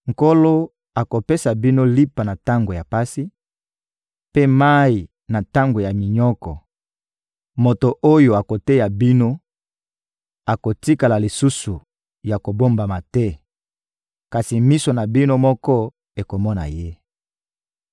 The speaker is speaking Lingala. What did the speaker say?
Nkolo akopesa bino lipa na tango ya pasi, mpe mayi na tango ya minyoko; moto oyo akoteya bino akotikala lisusu ya kobombama te, kasi miso na bino moko ekomona ye.